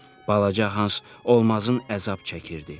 Balaca Hans olmazın əzab çəkirdi.